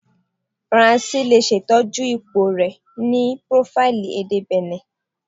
Faranse le ṣetọju ipo rẹ ni profaili ede Benin